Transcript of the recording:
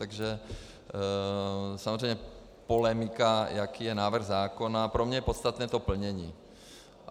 Takže samozřejmě polemika, jaký je návrh zákona - pro mě je podstatné to plnění.